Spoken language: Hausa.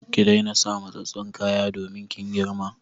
Ki daina sa matsatstsun kaya domin kin girma!